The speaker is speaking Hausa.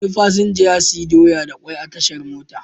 Wani fasinja ya sayi doya da kwai a tashar mota.